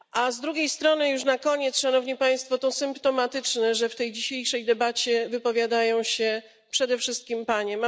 Z drugiej strony, już na koniec, Szanowni Państwo, to symptomatyczne, że w tej dzisiejszej debacie wypowiadają się przede wszystkim panie.